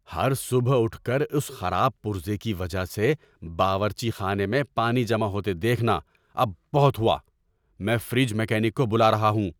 ہر صبح اٹھ کر اس خراب پرزے کی وجہ سے باورچی خانے میں پانی جمع ہوتے دیکھنا اب بہت ہوا! میں فریج میکینک کو بلا رہا ہوں۔